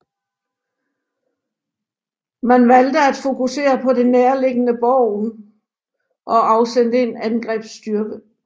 Man valgte at fokusere på det nærliggende Bergen og afsendte en angrebsstyrke